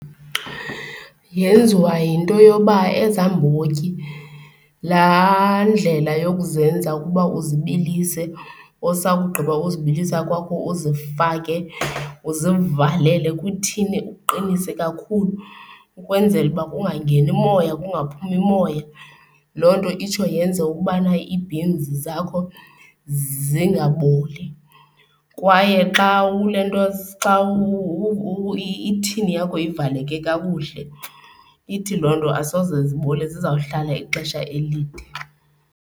Yenziwa yinto yoba ezaa mbotyi, laa ndlela yokuzenza ukuba uzibilise usakugqiba uzibilisa kwakho uzifake, uzivalele kwithini, uqinise kakhulu ukwenzela uba kungangeni umoya, kungaphumi moya, loo nto itsho yenze ukubana ii-beans zakho zingaboli. Kwaye xa ulentoza, xa ithini yakho ivaleke kakuhle ithi loo nto asoze zibole zizawuhlala ixesha elide.